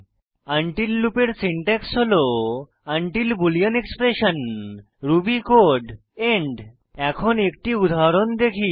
until লুপের syntax হল until boolean expression Ruby code end এখন একটি উদাহরণ দেখি